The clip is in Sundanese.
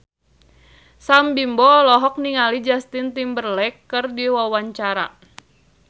Sam Bimbo olohok ningali Justin Timberlake keur diwawancara